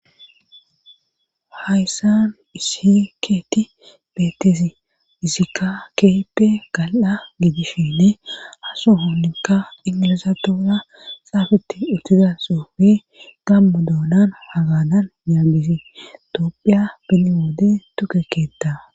hayssanu isi keeti bettesi hisikka keeppe gal7a giidishinne asu hoolinka ingilizatoora xaafetti uttiza soofi gammu doonan hagadan nyaabisi toophiya pineoode tukekkeetta